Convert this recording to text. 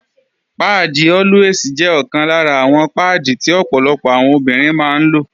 Páàdì Always jẹ́ ọ̀kan lára àwọn páàdì tí ọ̀pọ̀lọpọ̀ àwọn obìnrin máa ń lò